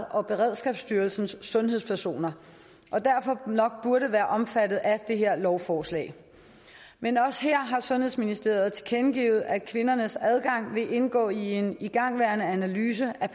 og beredskabsstyrelsens sundhedspersoner og derfor nok burde være omfattet af det her lovforslag men også her har sundhedsministeriet tilkendegivet at kvindernes adgang vil indgå i en igangværende analyse af